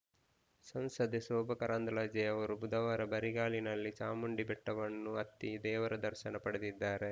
ಸಂಸದೆ ಶೋಭಾ ಕರಂದ್ಲಾಜೆ ಅವರು ಬುಧವಾರ ಬರಿಗಾಲಿನಲ್ಲಿ ಚಾಮುಂಡಿಬೆಟ್ಟವನ್ನು ಹತ್ತಿ ದೇವರ ದರ್ಶನ ಪಡೆದಿದ್ದಾರೆ